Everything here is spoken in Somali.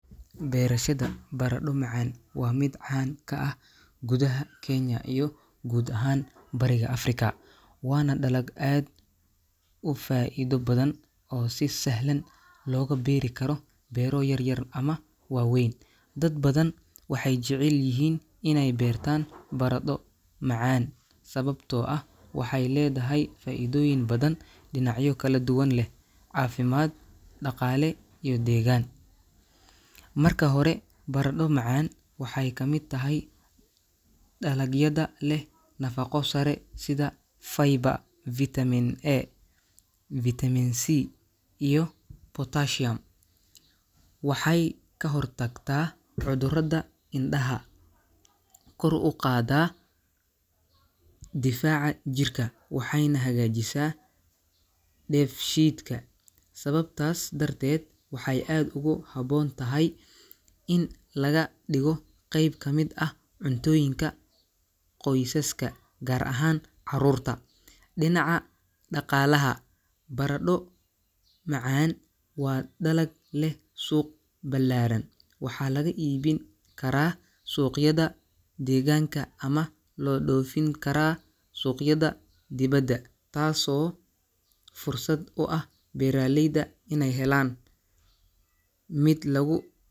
Beerashada baradho macaan waa mid caan ka ah gudaha Kenya iyo guud ahaan Bariga Afrika, waana dalag aad u faa'iido badan oo si sahlan looga beeri karo beero yaryar ama waaweyn. Dad badan waxay jecel yihiin inay beertaan baradho macaan sababtoo ah waxay leedahay faa'iidooyin badan oo dhinacyo kala duwan leh – caafimaad, dhaqaale, iyo deegaan. Marka hore, baradho macaan waxay ka mid tahay dalagyada leh nafaqo sare sida fiber, vitamin A, vitamin C, iyo potassium. Waxay ka hortagtaa cudurrada indhaha, kor u qaadaa difaaca jirka, waxayna hagaajisaa dheefshiidka. Sababtaas darteed, waxay aad ugu habboon tahay in laga dhigo qayb ka mid ah cuntooyinka qoysaska, gaar ahaan carruurta. Dhinaca dhaqaalaha, baradho macaan waa dalag leh suuq ballaaran. Waxaa laga iibin karaa suuqyada deegaanka ama loo dhoofin karaa suuqyada dibadda, taasoo fursad u ah beeralayda inay helaan mid lagu .